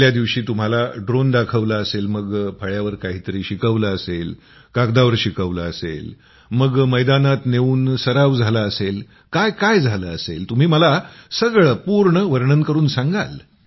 पहिल्या दिवशी तुम्हाला ड्रोन दाखवला असेल मग फळ्यावर काहीतरी शिकवलं असेल कागदावर शिकवलं असेल मग मैदानात नेऊन सराव झाला असेल काय काय झालं असेल तुम्ही मला सगळं पूर्ण वर्णन करून सांगाल